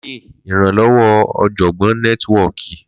Linkdln iranlọwọ ọjọgbọn nẹtiwọki.